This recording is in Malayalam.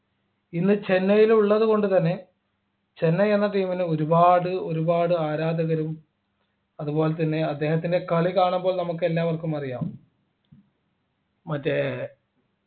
ഇന്ന് ചെന്നൈയിലുള്ളതുകൊണ്ടുതന്നെ ചെന്നൈ എന്ന team ന് ഒരുപാട് ഒരുപാട് ആരാധകരും അതുപോലെതന്നെ അദ്ദേഹത്തിൻ്റെ കളി കാണുമ്പോൾ നമുക്ക് എല്ലാവർക്കും അറിയാം മറ്റേ